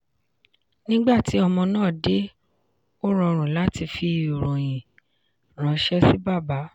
nígbà tí ọmọ náà dé ó rọrùn láti fi ìròyìn ranṣẹ́ sí bàbá.